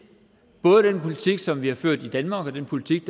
både den politik som vi har ført i danmark og den politik